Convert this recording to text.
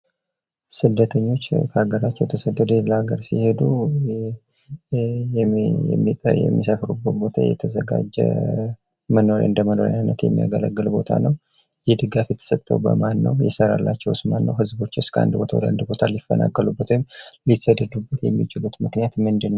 ስደተኞች ከአገራቸዉ ተሰደዉ ወደ ሌላ ሀገር ሲሄዱ የሚሰፍሩበት ቦታ የተዘጋጁ እንደ መኖሪያ የሚያገለግልቦታ ነዉ። ይህ ድጋፍ የተሰጠ በማን ነዉ?